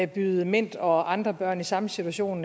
byde mint og andre børn i samme situation